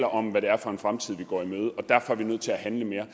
om hvad det er for en fremtid vi går i møde og derfor er vi nødt til at handle mere